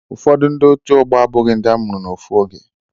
Ụfọdu ndi ọtu ogbo abughi ndi amuru na ofu oge.